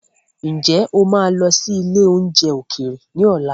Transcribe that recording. Ǹjẹ́ o máa lọ sí ilé oúnjẹ ókéré ni ọ̀la?